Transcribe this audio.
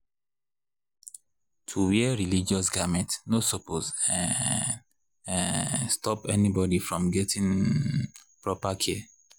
— to wear religious garments no suppose [um][um]stop anybody from gettin’ um proper care.